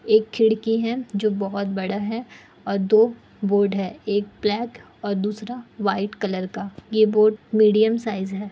एक खिड़की है जो बहुत बड़ा है और दो बोर्ड है एक ब्लैक और दूसरा व्हाइट कलर का। ये बोर्ड मीडियम साइज है।